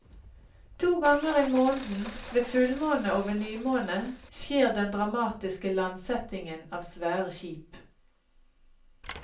To ganger i måneden, ved fullmåne og ved nymåne, skjer den dramatiske landsettingen av svære skip.